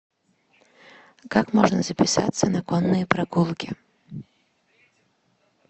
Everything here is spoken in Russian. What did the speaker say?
как можно записаться на конные прогулки